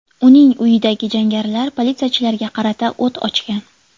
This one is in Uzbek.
Uning uyidagi jangarilar politsiyachilarga qarata o‘t ochgan.